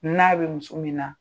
N'a bɛ muso min na.